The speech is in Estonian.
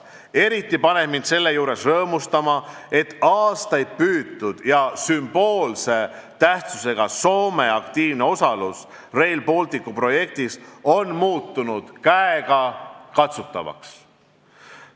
Eriti rõõmsaks teeb mind selle juures see, et aastaid taotletud ja sümboolse tähendusega Soome aktiivne osalus Rail Balticu projektis on muutunud käegakatsutavaks.